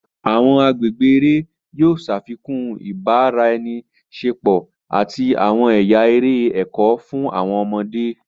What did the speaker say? Awọn agbègbè eré yóò ṣafikun ibaraẹniṣepo àti awọn ẹya eré ẹkọ fún awọn ọmọde.